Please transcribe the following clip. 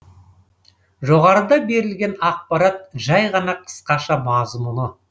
жоғарыда берілген ақпарат жай ғана қысқаша мазмұны